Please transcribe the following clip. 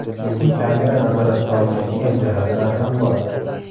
Lekin kamera nazorat qilolmaydigan jihatlar ham bor.